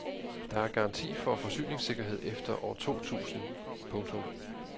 Der er garanti for forsyningssikkerhed efter år to tusind. punktum